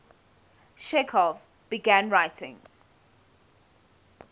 chekhov began writing